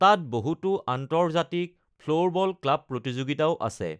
তাত বহুতো আন্তৰ্জাতিক ফ্লোৰবল ক্লাব প্ৰতিযোগিতাও আছে।